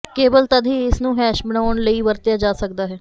ਕੇਵਲ ਤਦ ਹੀ ਇਸ ਨੂੰ ਹੈਸ਼ ਬਣਾਉਣ ਲਈ ਵਰਤਿਆ ਜਾ ਸਕਦਾ ਹੈ